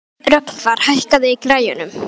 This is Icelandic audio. Rögnvar, hækkaðu í græjunum.